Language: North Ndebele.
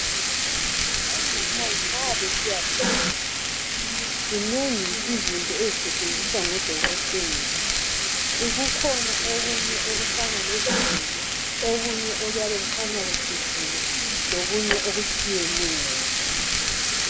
Omama nxa besiya beletha zinengi izinto ezisetshenziswa ngodokotela kukhona okunye okufana lezigelo okunye okuyabe kukhanya kucijile lokunye okutshiyeneyo.